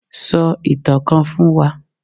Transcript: So itan kan fún wa!